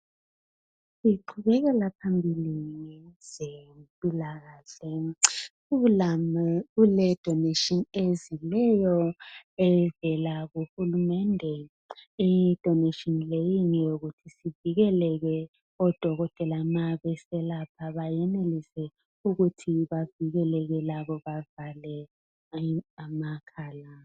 Siqhubeleka phambili kwezempilakahle, kuledoneshini ezileyo evela kuhulumende. Idoneshini leyi ngeyokuthi sivikeleke odokotela mabeselapha benelise ukuthi bavikeleke labo bavale amakhala.